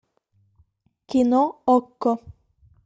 кино окко